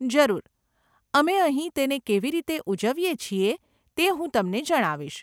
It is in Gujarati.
જરૂર. અમે અહીં તેને કેવી રીતે ઉજવીએ છીએ તે હું તમને જણાવીશ.